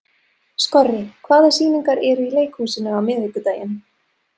Skorri, hvaða sýningar eru í leikhúsinu á miðvikudaginn?